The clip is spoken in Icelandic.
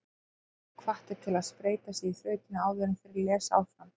Lesendur eru hvattir til að spreyta sig á þrautinni áður en þeir lesa áfram.